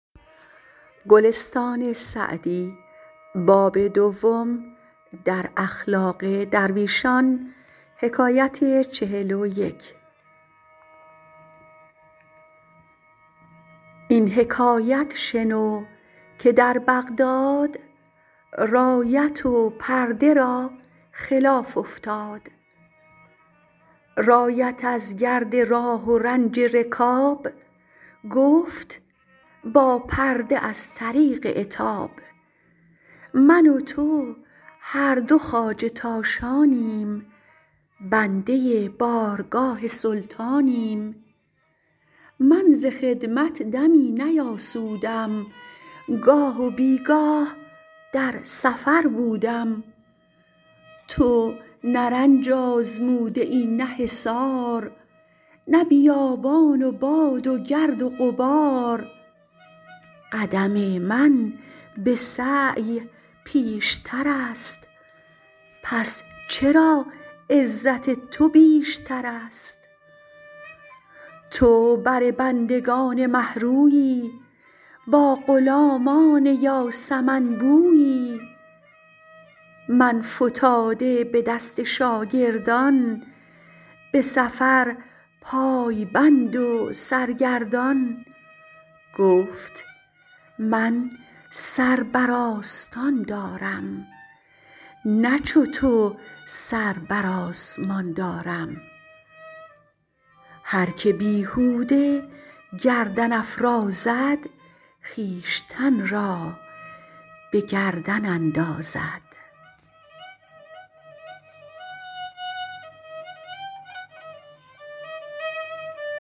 این حکایت شنو که در بغداد رایت و پرده را خلاف افتاد رایت از گرد راه و رنج رکاب گفت با پرده از طریق عتاب من و تو هر دو خواجه تاشانیم بنده بارگاه سلطانیم من ز خدمت دمی نیاسودم گاه و بیگاه در سفر بودم تو نه رنج آزموده ای نه حصار نه بیابان و باد و گرد و غبار قدم من به سعی پیشتر است پس چرا عزت تو بیشتر است تو بر بندگان مه رویی با غلامان یاسمن بویی من فتاده به دست شاگردان به سفر پای بند و سرگردان گفت من سر بر آستان دارم نه چو تو سر بر آسمان دارم هر که بیهوده گردن افرازد خویشتن را به گردن اندازد